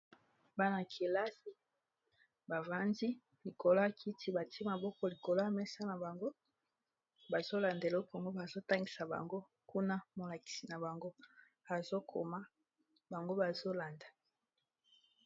Bana-kelasi bavandi likolo ya kiti batie maboko likolo ya mesa na bango bazolanda eloko ango bazotangisa bango kuna molakisi na bango azokoma bango bazolanda.